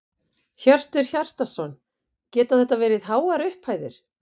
Hjörtur Hjartarson: Geta þetta verið háar upphæðir?